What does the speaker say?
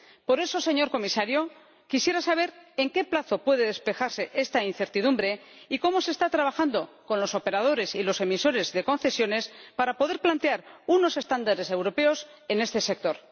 Por eso, señor Comisario, quisiera saber en qué plazo puede despejarse esta incertidumbre y cómo se está trabajando con los operadores y los emisores de concesiones para poder plantear unos estándares europeos en este sector.